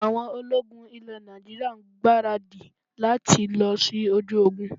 Àwọn ológun ilẹ̀ Nàìjíríà ń gbaradì lati lọ sí ojú ogun